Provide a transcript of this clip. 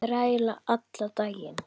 Þræla allan daginn!